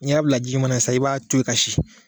n'i y'a bila ji ɲuman na sisan i b'a to yen